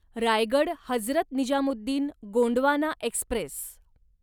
Raigad Hazrat Nizamuddin Gondwana Express